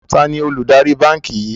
Taàní olùdarí báńkì yìí?